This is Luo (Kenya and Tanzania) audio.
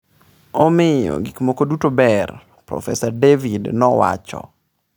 “Omiyo gik moko duto ber,” Prof David nowacho.